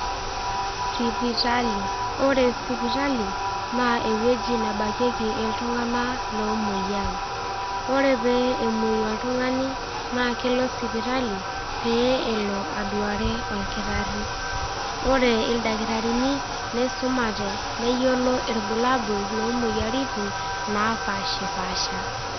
Sipitali, ore sipitali naa ewueji nabakieki iltung'anak lomwoiyaa. Ore pee emwoi oltung'ani naa kelo sipitali pee elo aduare olkitari. Ore ilkitarini, neisumate, neyiolo ilbulabul loo imoyiaritin napaashipaasha.